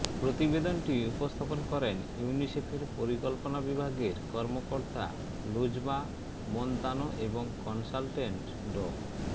প্রতিবেদনটি উপস্থাপন করেন ইউনিসেফের পরিকল্পনা বিভাগের কর্মকর্তা লুজমা মোনতানো এবং কনসালটেন্ট ড